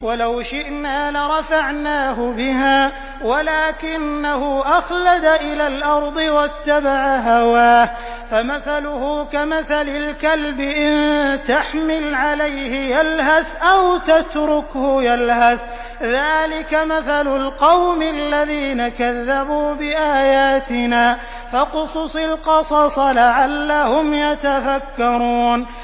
وَلَوْ شِئْنَا لَرَفَعْنَاهُ بِهَا وَلَٰكِنَّهُ أَخْلَدَ إِلَى الْأَرْضِ وَاتَّبَعَ هَوَاهُ ۚ فَمَثَلُهُ كَمَثَلِ الْكَلْبِ إِن تَحْمِلْ عَلَيْهِ يَلْهَثْ أَوْ تَتْرُكْهُ يَلْهَث ۚ ذَّٰلِكَ مَثَلُ الْقَوْمِ الَّذِينَ كَذَّبُوا بِآيَاتِنَا ۚ فَاقْصُصِ الْقَصَصَ لَعَلَّهُمْ يَتَفَكَّرُونَ